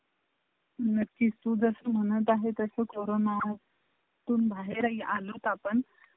नक्की तू जसे म्हणत आहे तसा corona त बहार ते अलोत आपण